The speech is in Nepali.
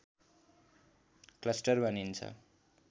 क्लस्टर भनिन्छ